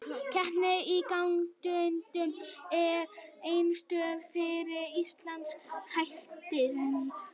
Keppni í gangtegundum er einstök fyrir íslenska hestinn.